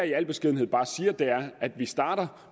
i al beskedenhed bare siger er at vi starter